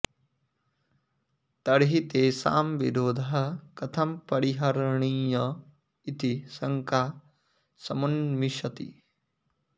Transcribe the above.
तर्हि तेषां विरोधः कथं परिहरणीय इति शङ्का समुन्मिषति